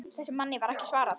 Þessum manni var ekki svarað.